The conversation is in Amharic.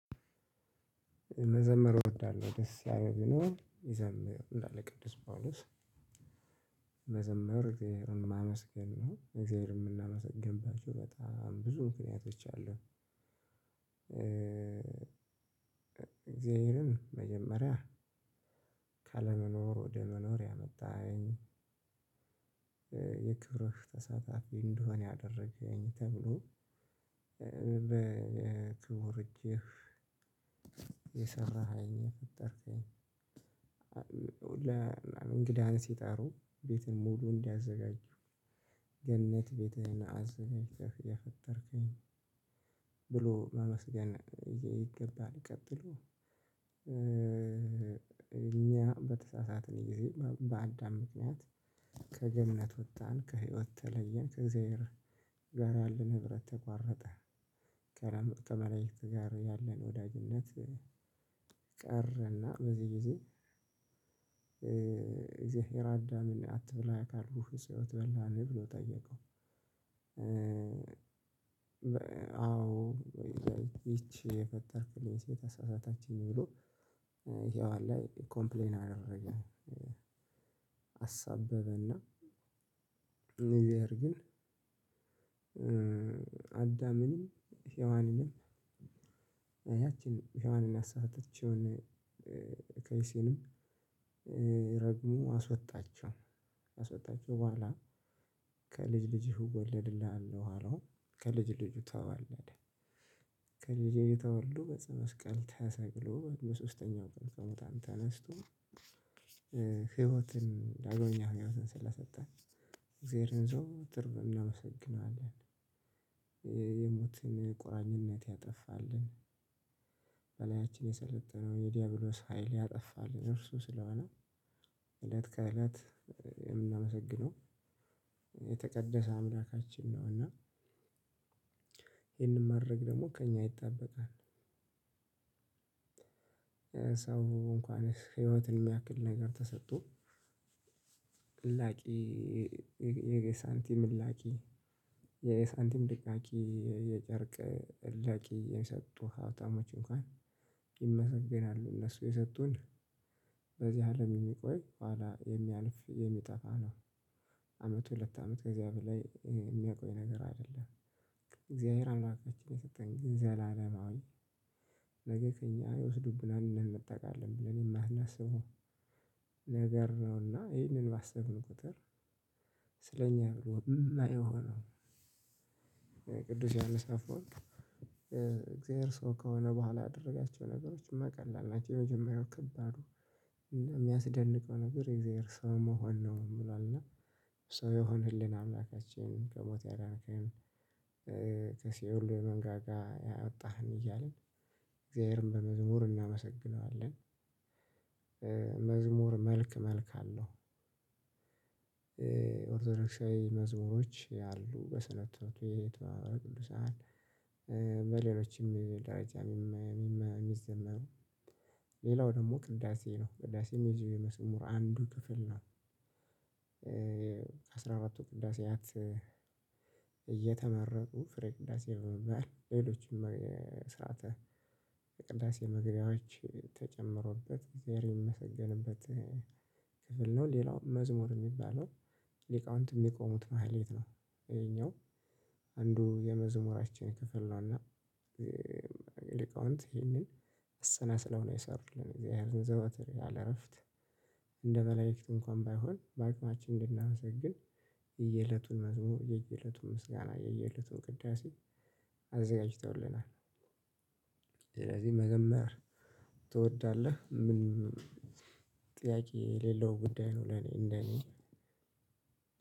መዘመር እወዳለሁ ደስ ያለው ቢኖር ይዘምር ይላል ቅዱስ ጳውሎስ መዘመር እግዚአብሔርን ማመስገን ነው እግዚአብሔርን የምናመሰግንባቸው በጣም ብዙ ምክንያቶች አሉ። እግዚአብሔርን መጀመሪያ ካለመኖር ወደ መኖር ያመጣኸኝ የክብርህ ተሳታፊ እንድሆን ያደረገኝ ተብሎ በክቡር እጅህ የሰራከኝ የፈጠርከኝ እንግዳ ሲጠሩ ቤትን ሙሉ እንዲያዘጋጁ ገነት ቤትህን አዘጋጅተህ የፈጠርከኝ መመስገን ይገባሃል። ቀጥሎ እኛ በተሳሳትን ጊዜ በአዳም ምክንያት ከገነት ወጣን ከህይወት ተለየን ከእግዚአብሔር ጋር ያለን ህብረት ተቋረጠ። ከ መላዕክት ጋር ያለን ወዳጅነት ቀረና በዚህ ጊዜ እግዚአብሔር አዳምን አትብላ ካልኩህ እፅዋት በላህ ብሎ ጠየቀው። አዎ ይቺ የፈጠርክልኝ ሴት አሳሳተችኝ ብሎ ሄዋን ላይ ኮምፕሌን አደረገ። አሳበበና እግዚአብሔር ግን አዳምንም ሄዋንንም ያችን ሄዋንን ያሳሳተችውን ከይሲንም ረግሞ አስወጣቸው። በኋላ ከልጅ ልጅሁ እወለድልሃለሁ አለው ከልጅ ልጁ ተዋለደ ከልጄ ተወልዶ በጸመስቀል ተሰቅሎ በሶስተኛው ቀን ከሙታን ተነስቶ ህይወትን ዳግመኛ ህይወትን ስለሰጠን እግዚአብሔርን ዘወትር እናመሰግናለን። የሞትን ቁራኝነት ያጠፋልን በላያችን የሰለጠነውን የዲያብሎስ ሀይል ያጠፋልና እርሱ ስለሆነ እለት ከእለት የምናመሰግነው የተቀደሰ አምላካችን ነው። እና ይሄንን ማድረግ ደግሞ ከእኛ ይጠበቃል። ሰው እንኳን ህይወትን የሚያክል ነገር ተሰጥቶ ዕላቂ የሳንቲም ዕላቂ አላቂ የጨርቅ እላቂ የሚሰጡ ሀብታሞች እንኳን ይመሰገናሉ። እነሱ የሰጡን በዚህ አለም የሚቆይ ኋላ የሚያልፍ የሚጠፋ ነው። አመት ሁለት አመት ከእግዚአብሔር ላይ የሚያቆይ ነገር አይደለም። እግዚአብሔር አምላካችን የሰጠን ዘላለማዊ ነገ ከእኛ ይወስዱብናል ብለን እንነጠቃለን ብለን የማናስበው ነገር ነውና ይሄንን ባሰብን ቁጥር ስለኛ ነው ይሄንንሁላ የሆነው። ቅዱስ ዮሐንስ አፈወርቅ እግዚአብሔር ሰው ከሆነ በኋላ ያደረጋቸው ነገሮች ቀላል ናቸው። የመጀመሪያው ከባዱ የሚያስደንቀው ነገር የእግዚአብሔር ሰው መሆን ነው ይላል። እና ሰው የሆነልን አምላካችን ከሞት ያዳንከን ከሲኦል መንጋጋ ያወጣህን እያልን እግዚአብሔርን በመዝሙር እናመሰግነዋለን። መዝሙር መልክ መልክ አለው። ኦርቶዶክሳዊ መዝሙሮች ያሉ በስነ ትምህርትቤት የተባሉ ቅዱሳን በሌሎችም ደረጃ የሚዘመሩ ሌላው ደግሞ ቅዳሴ ነው ቅዳሴ መዝሙር አንዱ ክፍል ነው። አራቱ ቅዳሴያት እየተመረቁ ፍሬ ቅዳሴ በመባል ሌሎችም ስርዓተ ቅዳሴ መግቢያዎች ተጨምሮበት እግዚአብሔር የሚመሰገንበት ክፍል ነው። ሌላው መዝሙር የሚባለው ሊቃውንት የሚቆሙት ማህሌት ነው። ይሄኛው አንዱ የመዝሙራችን ክፍል ነውና ሊቃውንት ይሄንን አሰናስለው ነው የሰሩት እግዚአብሔርን ዘወትር ያለ እረፍት እንደ መላእክት እንኳን ባይሆን በአቅማችን እንድናመሰግን የየለቱን መዝሙር የየለቱን ምስጋና የየለቱን ቅዳሴ አዘጋጅተውልናል። ስለዚህ መዘመር ትወዳለህ ምንም ጥያቄ የሌለው ጉዳይ ነው። ለኔ እንደኔ